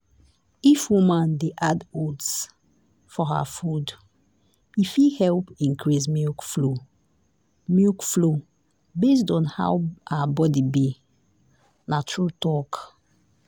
if woman de add oats for her food e fit help increase milk flow milk flow based on how her body be. na true talk.